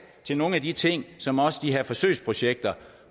til nogle af de ting som også de her forsøgsprojekter